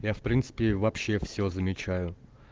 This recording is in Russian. я в принципе вообще все замечаю